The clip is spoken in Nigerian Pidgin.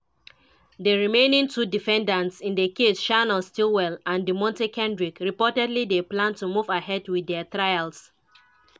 di remaining two defendants in di case shannon stillwell and deamonte kendrick reportedly dey plan to move ahead with dia trials.